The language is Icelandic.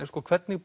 hvernig